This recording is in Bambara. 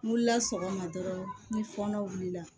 N wulila sɔgɔma dɔrɔn ni fɔnɔ wulila